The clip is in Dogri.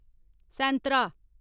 सेंतरा